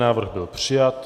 Návrh byl přijat.